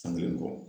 San kelen kɔ